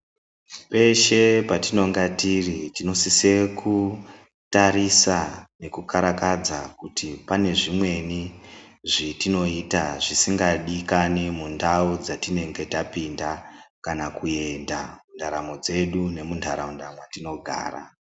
Peshe patinonge tiri tinosise kutarisa nekukarakadza kuti pane zvimweni zvetinoita zvisingadikani mundau dzatinenge tapinda kana kuenda, ndaramo dzedu nemuntaraunda mwetinogara.